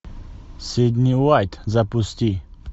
сидни уайт запусти